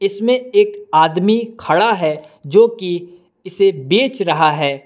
इसमें एक आदमी खड़ा है जो कि इसे बेच रहा है।